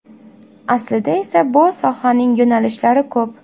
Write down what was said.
Aslida esa bu sohaning yo‘nalishlari ko‘p.